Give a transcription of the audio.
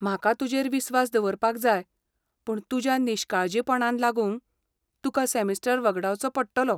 म्हाका तुजेर विस्वास दवरपाक जाय, पूण तुज्या निश्काळजीपणान लागून तुका सॅमिस्टर वगडावचो पडटलो.